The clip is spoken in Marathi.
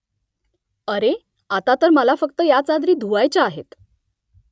अरे आता तर मला फक्त ह्या चादरी धुवायच्या आहेत